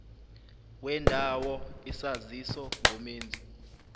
wendawo isaziso ngomenzi